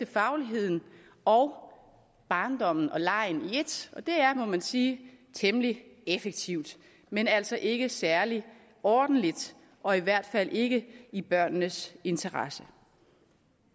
fagligheden og barndommen og legen i ét og det er må man sige temmelig effektivt men altså ikke særlig ordentligt og i hvert fald ikke i børnenes interesse